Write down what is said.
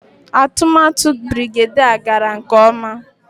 Atụmatụ Birigadiau gara nke ọma